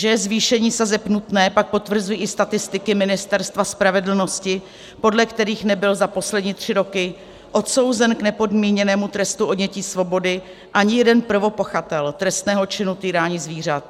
Že je zvýšení sazeb nutné, pak potvrzují i statistiky Ministerstva spravedlnosti, podle kterých nebyl za poslední tři roky odsouzen k nepodmíněnému trestu odnětí svobody ani jeden prvopachatel trestného činu týrání zvířat.